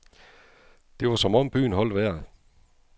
Det var som om byen holdt vejret.